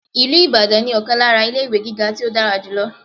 Ìlú Ìbàdàn ní ọ̀kan lára ilé-ìwé gíga tí ó dára jù lọ..